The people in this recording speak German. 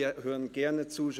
Wir hören ihm gerne zu.